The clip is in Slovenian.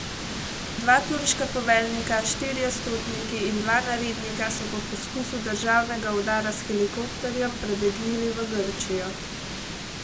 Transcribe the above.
Dva turška poveljnika, štirje stotniki in dva narednika so po poskusu državnega udara s helikopterjem prebegnili v Grčijo.